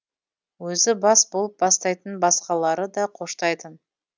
өзі бас болып бастайтын басқалары да қоштайтын